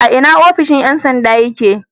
A ina ofishon ƴan sanda yake?